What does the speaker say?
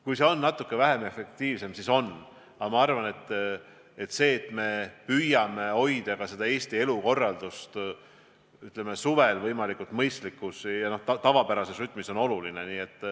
Kui see on natuke vähem efektiivne, siis nii on, aga ma arvan, et see, et me püüame hoida Eesti elukorraldust suvel võimalikult mõistlikus ja tavapärases rütmis, on oluline.